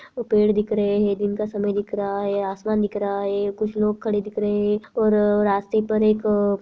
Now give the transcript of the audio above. वो पेड़ दिख रहें हैं दिन का समय दिख रहा है आसमान दिख रहा है कुछ लोग खड़े दिख रहें हैं और रास्ते पर एक अ --